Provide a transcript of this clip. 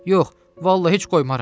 Yox, vallah heç qoymaram.